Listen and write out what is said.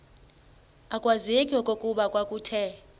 akwazeki okokuba kwakuthe